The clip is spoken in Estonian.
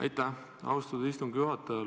Aitäh, austatud istungi juhataja!